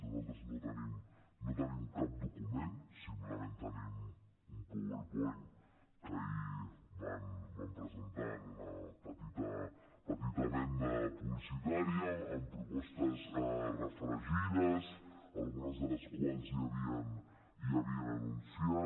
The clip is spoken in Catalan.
nosaltres no tenim cap document simplement tenim un powerpoint que ahir van presentar en una petita venda publicitària amb propostes refregides algunes de les quals ja havien anunciat